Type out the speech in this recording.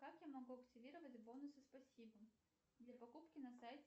как я могу активировать бонусы спасибо для покупки на сайте